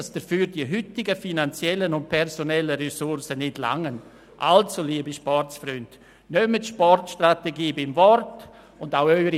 Dafür seien weder personelle noch finanzielle Mittel vorhanden.